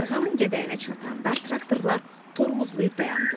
Yarğanın gədəyinə çatanda traktorlar tormozlayıb dayandılar.